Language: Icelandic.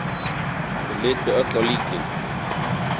Þau litu öll á líkið.